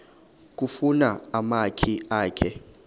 kufuna umakhi akhe